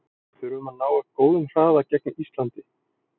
Við þurfum að ná upp góðum hraða gegn Íslandi.